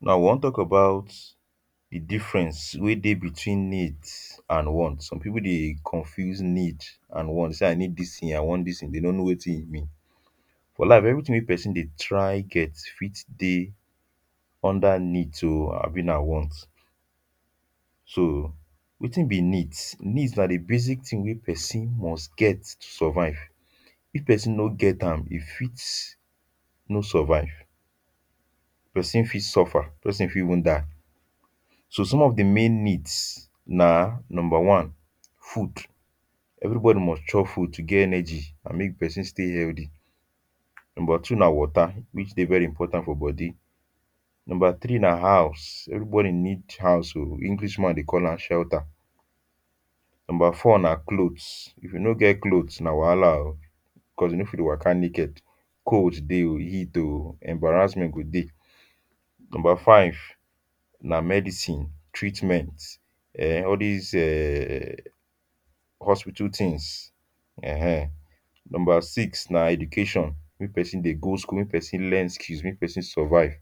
now we wan talk about the difference weh deh between needs and want some people deh confuse needs and want and want say i need this thing um i want this thing they no know wetin be for life everything weh person deh try get fit deh under needs o abi nah want so wetin be needs needs nah the basic things weh person must get to survive if person no get am e fit no survive person fit suffer person fit even die so some of the main needs nah number one food everybody must chop food to get energy and make person stay healthy number two nah water which deh very important for body number three nah house everybody need house house o english man deh call am shelter number four nah cloths if you no get cloths nah wahala o cause you no fit waka naked cold deh um heat um embarrassment go deh number five nah medicine treatment um um all this um hospital things um number six nah education make person deh go school make person learn skill make person survive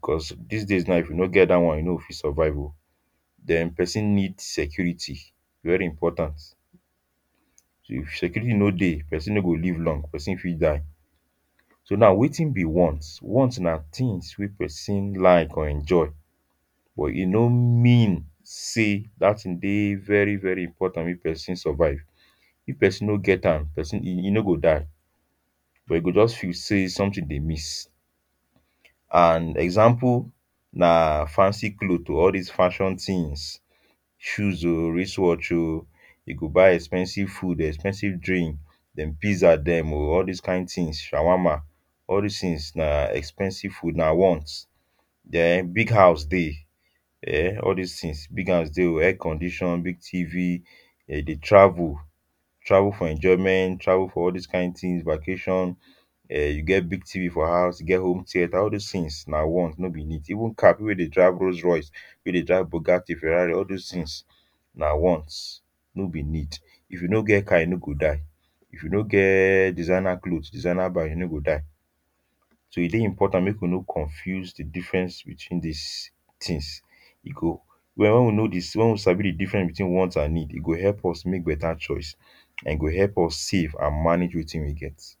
cause this days now if you no get that one you no go fit survive um then person needs security very important so if security no deh person no go live long person fit die so now wetin be want wants nah things weh person like or enjoy but e no mean say that thing deh very very important make person survive if person no get am person e e no go die but e go just feel say something deh miss and example nah fancy clothe um all these fashion things shoes um wrist watch o e go buy expensive food expensive drink them pizza them all this kind things shawarma all these things nah expensive food nah want then big house deh um all these things big house um deh e air condition big Tv them deh travel travel for enjoyment travel for all these kind thing vacation um e get big Tv for house e get home theatre all this things nah want no be need even car people weh deh drive Rolls-Royce we deh drive Bugatti Ferrari all those things nah wants no be need if you no get car you no go die if you no get designer cloth designer bag you no go die so e deh important make we no confused the difference these things e go when we know this when we sabi the difference between wants and need e go help us make better choice and e go help us save and manage wetin we get.